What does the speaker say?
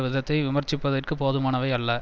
விதத்தை விமர்சிப்பதற்கு போதுமானவை அல்ல